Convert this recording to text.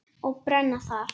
Og brenna þar.